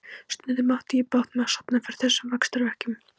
Stundum átti ég bágt með að sofna fyrir þessum vaxtarverkjum.